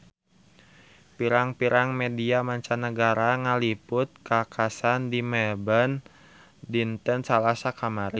Pirang-pirang media mancanagara ngaliput kakhasan di Melbourne dinten Salasa kamari